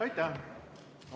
Aitäh!